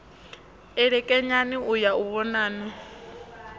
elekanyani u ya u vhonana